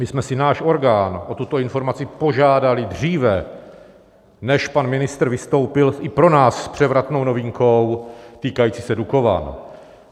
My jsme si náš orgán o tuto informaci požádali dříve, než pan ministr vystoupil, i pro nás s převratnou novinkou týkající se Dukovan.